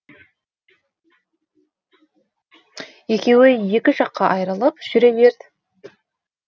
екеуі екі жаққа айырылып жүре берді